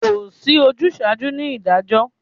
Kò sí ojúsaajú ni ìdájọ́